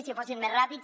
si fossin més ràpids